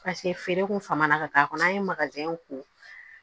feere kun fama na ka taa a kɔnɔ an ye ko